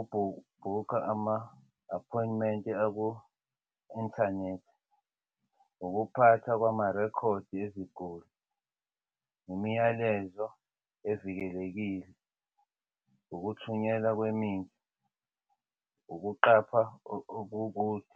ukubhuka ama-appointment aku-inthanethi, ukuphatha kwamarekhodi eziguli umyalezo evikelekile ukuthunyelwa kwemithi, ukuqapha kokude.